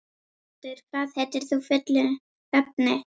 Skjöldur, hvað heitir þú fullu nafni?